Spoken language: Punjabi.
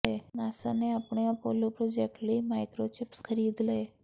ਨਾਸਾ ਨੇ ਆਪਣੇ ਅਪੋਲੋ ਪ੍ਰੋਜੈਕਟ ਲਈ ਮਾਈਕਰੋਚਿਪਸ ਖਰੀਦ ਲਈ